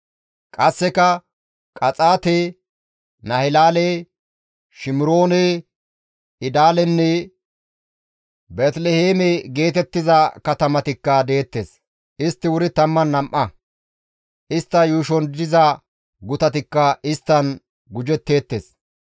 Qasseka Qaxaate, Nahilaale, Shimiroone, Idaalenne Beeteliheeme geetettiza katamatikka deettes. Istti wuri 12; istta yuushon diza gutatikka isttan gujetteettes.